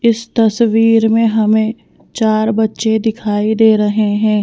इस तस्वीर में हमें चार बच्चे दिखाई दे रहे हैं।